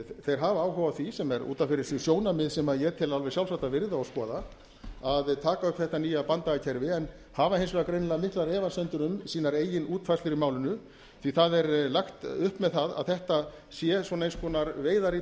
þeir hafa áhuga á því sem er út af fyrir sig sjónarmið sem ég tel alveg sjálfsagt að virða og skoða að taka upp þetta nýja banndagakerfi en hafa hins vegar greinilega miklar efasemdir um sínar eigin útfærslur í málinu því það er lagt upp með að þetta séu svona eins konar veiðar í